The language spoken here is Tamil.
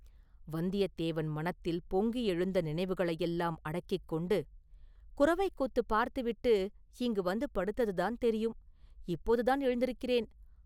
வந்தியத்தேவன் மனத்தில் பொங்கி எழுந்த நினைவுகளையெல்லாம் அடக்கிக் கொண்டு, “குரவைக் கூத்துப் பார்த்து விட்டு இங்கு வந்து படுத்ததுதான் தெரியும், இப்போதுதான் எழுந்திருக்கிறேன்.